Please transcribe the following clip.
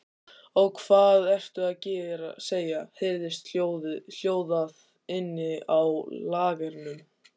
Ó, hvað ertu að segja, heyrðist hljóðað inni á lagernum.